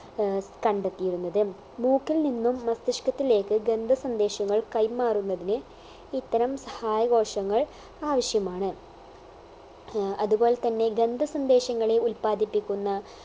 ഏർ കണ്ടെത്തിയിരുന്നത് മൂക്കിൽ നിന്നും മസ്തിഷ്കത്തിലേക്ക് ഗന്ധ സന്ദേശങ്ങൾ കൈമാറുന്നതിന് ഇത്തരം സഹായ കോശങ്ങൾ ആവശ്യമാണ് ഏർ അതുപോലെ തന്നെ ഗന്ധ സന്ദേശങ്ങളെ ഉല്പാദിപ്പിക്കുന്ന